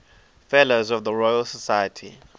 fellows of the royal society